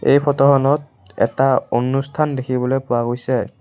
এই ফটোখনত এটা অনুষ্ঠান দেখিবলৈ পোৱা গৈছে।